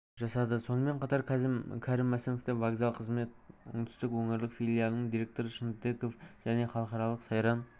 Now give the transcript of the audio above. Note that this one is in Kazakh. жасады сонымен қатар кәрім мәсімовті вокзал қызмет оңтүстік өңірлік филиалының директоры шынтеков және халықаралық сайран